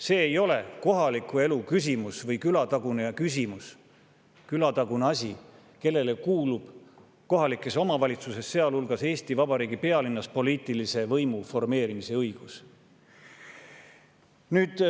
See ei ole kohaliku elu küsimus või külatagune asi, kellele kuulub kohalikes omavalitsustes, sealhulgas Eesti Vabariigi pealinnas, poliitilise võimu formeerimise õigus.